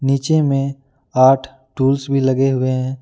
नीचे में आठ टूल्स भी लगे हुए हैं।